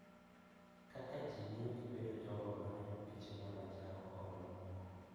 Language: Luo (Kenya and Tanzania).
Kaka ji miyo gibedo jogo ma neno piche mag anjao kod mamoko.